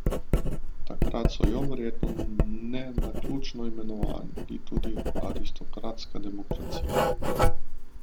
Takrat so jo, verjetno ne naključno, imenovali tudi aristokratska demokracija.